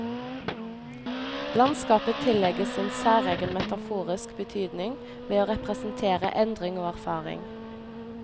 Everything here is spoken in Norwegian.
Landskapet tillegges en særegen metaforisk betydning, ved å representere endring og erfaring.